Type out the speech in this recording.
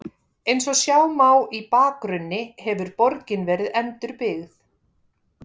Eins og sjá má í bakgrunni hefur borgin verið endurbyggð.